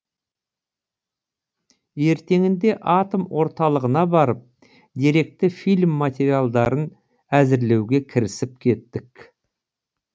ертеңінде атом орталығына барып деректі фильм материалдарын әзірлеуге кірісіп кеттік